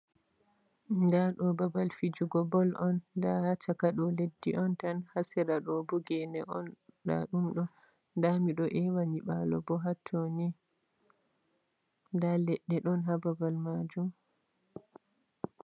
Nda ɗo babal fijugo ball on nda ha caka ɗo leddi on tan, ha sera ɗo bo gene on ndaɗum ɗo, nda miɗo ewa nyiɓalo hatto ni nda leɗde ɗon ha babal Majum.